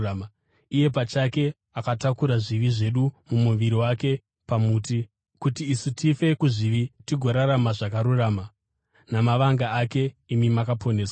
Iye pachake akatakura zvivi zvedu mumuviri wake pamuti, kuitira kuti isu tife kuzvivi tigorarama zvakarurama; namavanga ake imi makaporeswa.